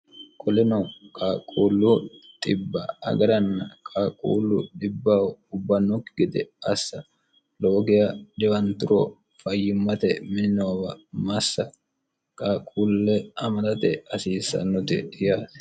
qolino qaaquullu xibba agaranna qaaquullu xibbaho ubbannokki gede assa lowo geya dhiwanturo fayyimmate miin noowa massa qaaquulle amadate hasiissannoti yaate